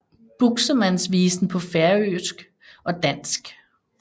Buxemands Visen paa Færøisk og Dansk